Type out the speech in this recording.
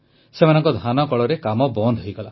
ସେମାନଙ୍କ ଧାନକଳରେ କାମ ବନ୍ଦ ହୋଇଗଲା